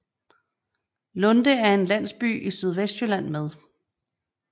Lunde er en landsby i Sydvestjylland med